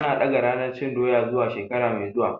An ɗaga ranar cin Doya zuwa shekara mai zuwa.